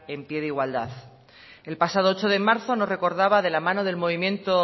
en pie de igualdad el pasado ocho de marzo nos recordaba de la mano del movimiento